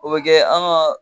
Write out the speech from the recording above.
O bɛ kɛ an ka